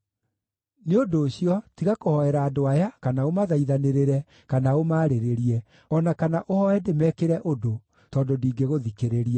“Nĩ ũndũ ũcio, tiga kũhoera andũ aya, kana ũmathaithanĩrĩre, kana ũmaarĩrĩrie, o na kana ũhooe ndĩmekĩre ũndũ tondũ ndingĩgũthikĩrĩria.